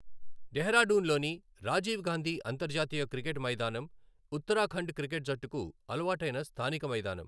డెహ్రాడూన్లోని రాజీవ్ గాంధీ అంతర్జాతీయ క్రికెట్ మైదానం ఉత్తరాఖండ్ క్రికెట్ జట్టుకు అలవాటైన స్థానిక మైదానం.